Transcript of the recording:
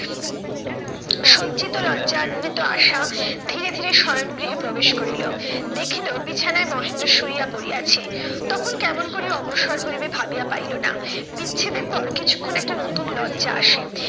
সজ্জিত লজ্জানিত আশা ধীরে ধীরে শয়ন গৃহে প্রবেশ করিল। দেখিলো বিছানায় মহেন্দ্র শুইয়া পড়িয়াছে, তখন কেমন করিয়া অগ্রসর হইবে ভাবিয়া পাইলো না। বিচ্ছেদের পর কিছুক্ষন একটা নতুন লজ্জা আসে